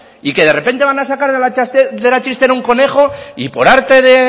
y que de repente van a sacar de la chistera un conejo y por arte de